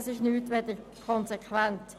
Dies ist nichts als konsequent.